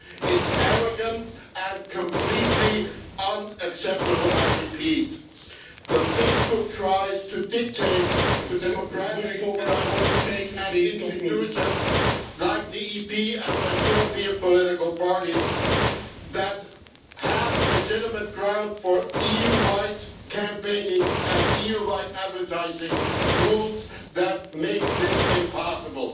It's arrogant and completely unacceptable, I repeat, that Facebook tries to dictate the democratic organisations and institutions like the EP and the European political parties that have legitimate grounds for EU wide campaigning, and EU wide advertising rules that make this impossible.